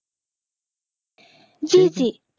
জি জি